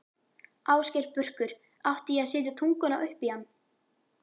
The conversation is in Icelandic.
Ásgeir Börkur: Átti ég að setja tunguna upp í hann?